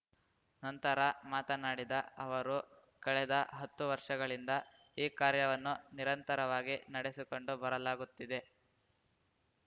ನಂತರ ಮಾತನಾಡಿದ ಅವರು ಕಳೆದ ಹತ್ತು ವರ್ಷಗಳಿಂದ ಈ ಕಾರ್ಯವನ್ನು ನಿರಂತರವಾಗಿ ನಡೆಸಿಕೊಂಡು ಬರಲಾಗುತ್ತಿದೆ